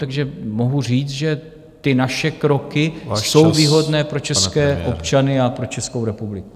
Takže mohu říct, že ty naše kroky jsou výhodné pro české občany a pro Českou republiku.